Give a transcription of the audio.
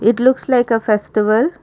it looks like a festival.